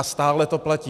A stále to platí.